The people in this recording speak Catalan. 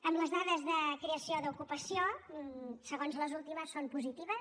amb les dades de creació d’ocupació segons les últimes són positives